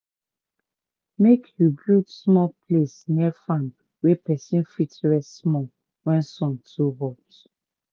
make u build small place near farm wey person fit rest small wen sun too hot.